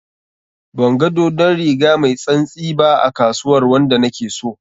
Banga dodon riga mai tsantsi ba a kasuwar wanda na ke so.